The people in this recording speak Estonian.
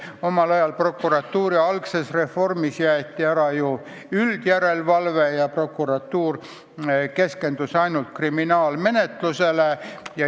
Pärast Eesti taasiseseisvumist käivitatud prokuratuuri töö ümberkorralduste ajal jäeti üldjärelevalve kohustus ära ja prokuratuur keskendus ainult kriminaalmenetlusele.